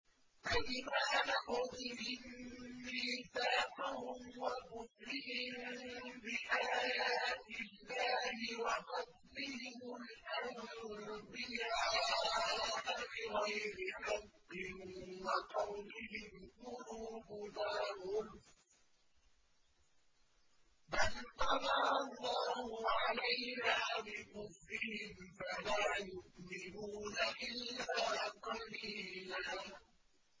فَبِمَا نَقْضِهِم مِّيثَاقَهُمْ وَكُفْرِهِم بِآيَاتِ اللَّهِ وَقَتْلِهِمُ الْأَنبِيَاءَ بِغَيْرِ حَقٍّ وَقَوْلِهِمْ قُلُوبُنَا غُلْفٌ ۚ بَلْ طَبَعَ اللَّهُ عَلَيْهَا بِكُفْرِهِمْ فَلَا يُؤْمِنُونَ إِلَّا قَلِيلًا